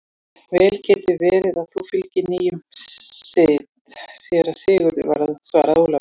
Vel getur verið að þú fylgir nýjum sið, síra Sigurður, svaraði Ólafur.